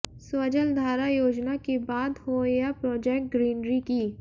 स्वजलधारा योजना की बात हो या प्रोजेक्ट ग्रीनरी की